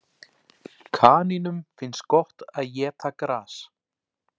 Kanínum finnst gott að éta gras.